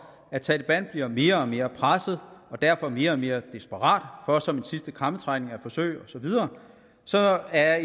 at taleban bliver mere og mere presset og derfor mere og mere desperat for som en sidste krampetrækning at forsøge osv så er